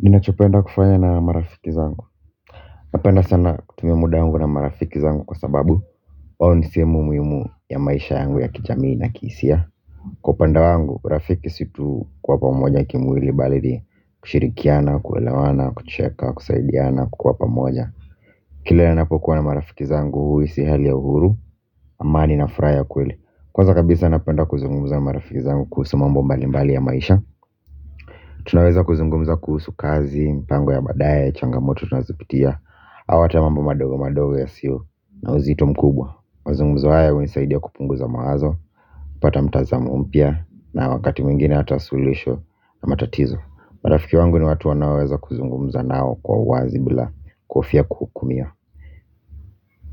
Ninachopenda kufaya na marafiki zangu napenda sana kutumia muda wangu na marafiki zangu kwa sababu wao ni sehemu muhimu ya maisha yangu ya kijamii na kihisia kwa upande wangu urafiki si kuwa pamoja kimwili bali ni kushirikiana kuelewana kucheka kusaidiana kukuwa pamoja. Kila ninapokuwa na marafiki zangu huhisi hali ya uhuru amani na furaha ya kweli. Kwanza kabisa napenda kuzungumza marafiki zangu kuhusu mambo mbali mbali ya maisha. Tunaweza kuzungumza kuhusu kazi, mpango ya baadae, changamoto tunazipitia. Au hata mambo madogo madogo yasiyo na uzito mkubwa. Mazungumzo haya hunisaidia kupunguza mawazo kupata mtazamo mpya na wakati mwingine hata suluhisho na matatizo. Marafiki wangu ni watu wanaoweza kuzungumza nao kwa uwazi bila kuhofia kuhukumia.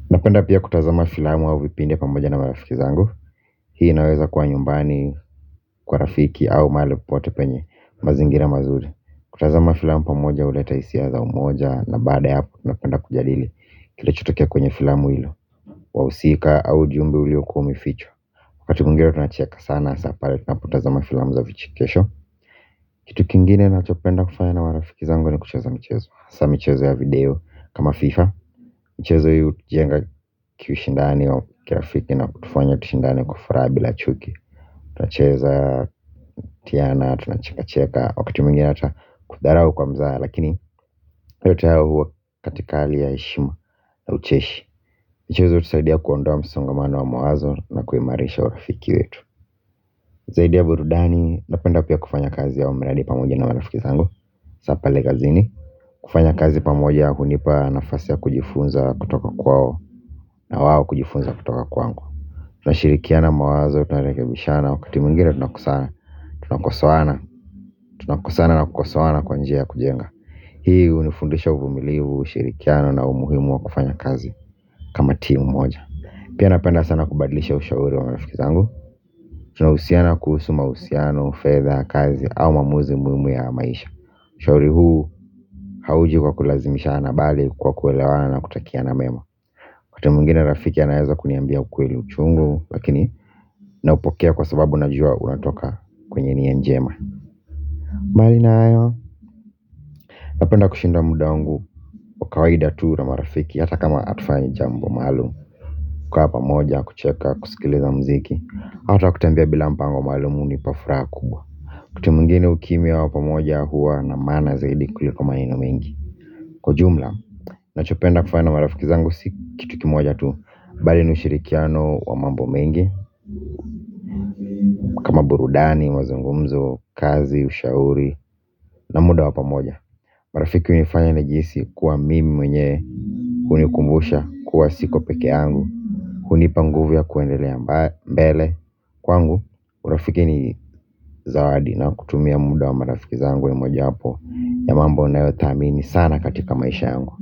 Napenda pia kutazama filamu au vipindi pamoja na marafiki zangu. Hii naweza kuwa nyumbani kwa rafiki au mahali popote penye mazingira mazuri. Kutazama filamu pamoja huleta hisia za umoja na baada ya hapo tunapenda kujadili kilichotokea kwenye filamu hilo. Wahusika au ujumbe uliokuwa umefichwa. Wakati mwingine tunacheka sana hasa pale tunapotazama filamu za vichikesho. Kitu kingine ninachopenda kufaya na marafiki zangu ni kucheza mchezo hasa michezo ya video kama fifa. Michezo hio hutujenga kiushindani wa kirafiki na kutufanya tushindane kwa furaha bila chuki. Tunacheza tunacheka cheka wakati mwingine hata kudharau kwa mzaha. Lakini yote haya huwa katika hali ya heshima na ucheshi mchezo hutusaidia kuondoa msongamano wa mawazo na kuimarisha urafiki wetu. Zaidi ya burudani napenda pia kufanya kazi ya huu mradi pamoja na marafiki zangu Sapa legazini. Kufanya kazi pamoja ya hunipa nafasi ya kujifunza kutoka kwao na wao kujifunza kutoka kwangu. Tunashirikiana mawazo tunarekebishana wakati mwingine tunakosana. Tunakosoana tunakosana na kukosoana kwa njia ya kujenga. Hii hunifundisha uvumilivu, ushirikiano na umuhimu wa kufanya kazi kama timu moja. Pia napenda sana kubadlisha ushauri wa marafiki zangu. Tunahusiana kuhusu mahusiano, fedha, kazi au maamuzi muhimu ya maisha. Ushauri huu hauji kwa kulazimishana bali kwa kuelewana na kutakiana mema wakati mwingine rafiki anaweza kuniambia ukweli uchungu lakini naupokea kwa sababu najua unatoka kwenye nia njema. Mbali na hayo. Napenda kushinda muda wangu wa kawaida tu na marafiki hata kama hatufanyi jambo maalum. Kukaa pamoja kucheka kusikiliza muziki hata kutembea bila mpango maalum hunipa furaha kubwa wakati mwingine ukimya wa pamoja huwa na maana zaidi kuliko maneno mengi. Kwa jumla ninachopenda kufanya marafiki zangu si kitu kimoja tu. Bali ni ushirikiano wa mambo mengi burudani, mazungumzo, kazi, ushauri na muda wa pamoja. Marafiki hunifanya nijihisi kuwa mimi mwenyewe. Hunikumbusha kuwa siko pekee yangu. Hunipa nguvu ya kuendelea mbele. Kwangu, urafiki ni zawadi na kutumia muda wa marafiki zangu ni moja wapo ya mambo ninayothamini sana katika maisha yangu.